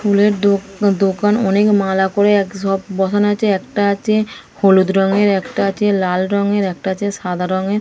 ফুলের দোকা দোকান। অনেক মালা করে এক সব বসানো আছে। একটা আছে হলুদ রঙের একটা আছে লাল রঙের একটা আছে সাদা রঙের।